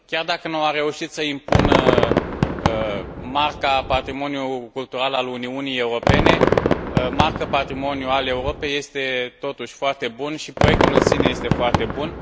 Chiar dacă nu a reușit să impună Marca patrimoniului cultural al Uniunii Europene, Marca patrimoniului Europei este, totuși, foarte bună, și proiectul în sine este foarte bun.